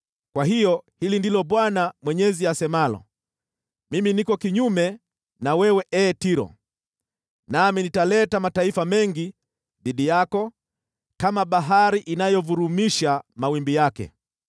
Kwa hiyo hili ndilo Bwana Mwenyezi asemalo: Mimi niko kinyume na wewe, ee Tiro, nami nitaleta mataifa mengi dhidi yako, kama bahari inayovurumisha mawimbi yake.